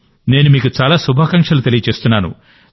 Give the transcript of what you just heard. నేను మీకు చాలా శుభాకాంక్షలు తెలియజేస్తున్నాను